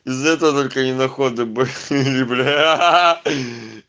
за это только не на ходу бо эгэгэ бляя